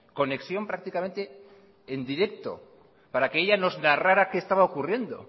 conexión prácticamente en directo para que ella nos narrara qué estaba ocurriendo